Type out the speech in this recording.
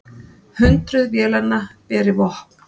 Hundruð vélanna beri vopn.